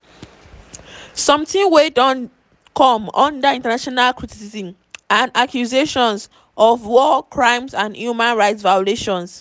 sometin wey don come under international criticism and accusations of war crimes and human rights violation.